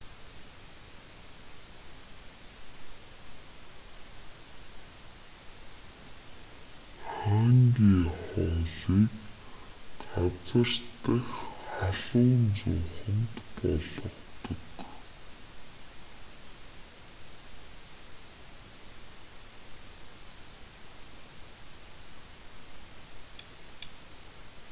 ханги хоолыг газар дахь халуун зууханд болгодог